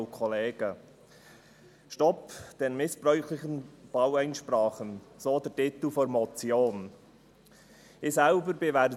«Stopp den missbräuchlichen Baueinsprachen», so der Titel der Motion.